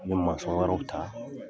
I bɛ wɛrɛw ta.